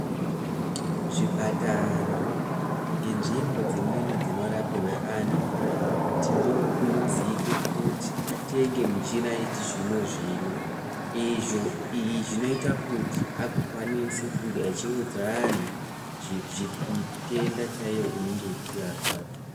Zvipatara nenzvimbo dzimweni dzinorapirwe antu tinokurudzire kuti atenge michina yechizvino zvino. Izvi zvinoite kuti vagokwanisa kunge vachiudza antu mitenta chaiyo inenge ichivarwadza.